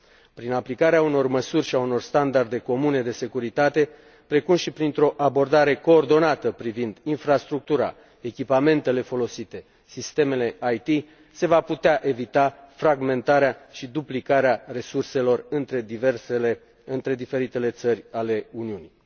Prin aplicarea unor măsuri și a unor standarde comune de securitate, precum și printr o abordare coordonată privind infrastructura, echipamentele folosite, sistemele IT, se va putea evita fragmentarea și duplicarea resurselor între diferitele țări ale Uniunii.